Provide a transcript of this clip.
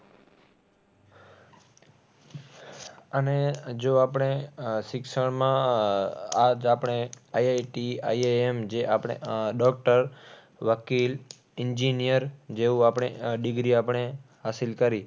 અને જો આપણે આહ શિક્ષણમાં આહ આ જ આપણે IIT IIM જે આપણે આહ doctor વકીલ engineer જેવું આપણે આહ degree આપણે હાસિલ કરી.